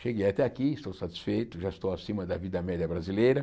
Cheguei até aqui, estou satisfeito, já estou acima da vida média brasileira.